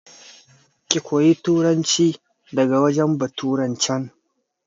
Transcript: Ki koya turanci daga wurin baturan can!